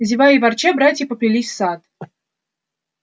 зевая и ворча братья поплелись в сад